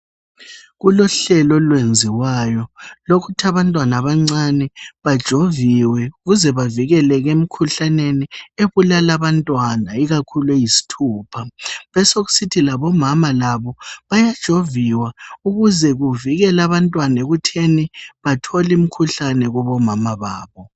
Kulohlelo olwenziwayo lokuthi abantwana abancane bajoviwe ukuze bavikeleke emkhuhlaneni ubulala abantwana, ikakhulu eyisithupha. Besekusithi labomama labo bayajoviwa ukuze kuvikele abantwana ekutheni bathol' imkhuhlane kubomama babo.